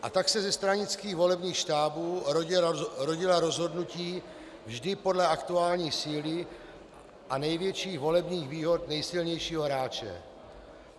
A tak se ze stranických volebních štábů rodila rozhodnutí vždy podle aktuální síly a největších volebních výhod nejsilnějšího hráče.